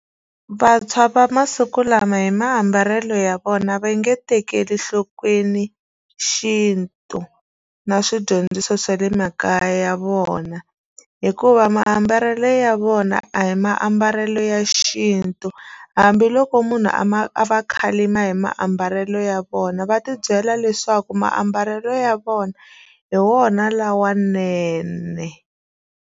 Vantshwa va masiku lama hi maambalelo ya vona va nge tekeli enhlokweni xintu na swidyondziso swa le makaya ya vona hikuva maambalelo ya vona a hi maambalelo ya xintu hambiloko munhu a ma a va khalima hi maambalelo ya vona va ti byela leswaku maambalelo ya vona hi wona lawanene.